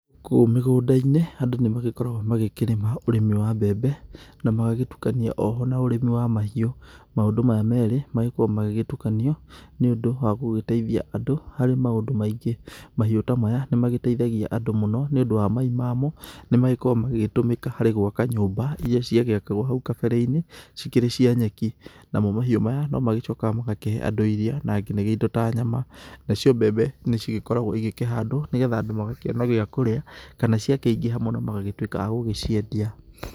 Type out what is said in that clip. Kũu mĩgũnda-inĩ andũ nĩmagĩkoragwo magĩkĩrĩma ũrĩmi wa mbembe, na magagĩtukania oho na ũrĩmi wa mahiũ, maũndũ maya merĩ magĩkorwo magĩgĩtukanio nĩũndũ wa gũgĩtĩithia andũ harĩ maũndũ maingĩ, mahiũ ta maya nĩmagĩteithagia andũ mũno nĩũndũ wa mai mamo, nĩmagĩkoragwo magĩgĩtũmĩka harĩ gwaka nyũmba iria ciagĩakagwo hau kabere-inĩ cikĩrĩ cia nyeki, namo mahiũ mayo nĩmacokaga magakahe andũ irio na nginyagia indo ta nyama, nacio mbembe nĩcigĩkoragwo igĩkĩhandwo nĩgetha andũ magakĩona gĩakũrĩa, kana ciakĩingĩha mũno magagĩtuĩka a gũgĩciendia.